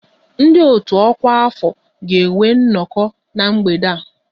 Ndị otu ọkwa afọ ga-enwe nnọkọ na mgbede a